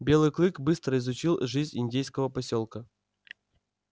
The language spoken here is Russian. белый клык быстро изучил жизнь индейского посёлка